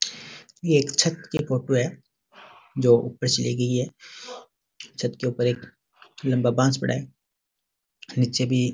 यह एक छत की फोटो है जो ऊपर से ली गई है छत के ऊपर एक लंबा बास पड़ा है नीचे भी --